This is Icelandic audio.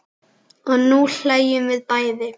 Og nú hlæjum við bæði.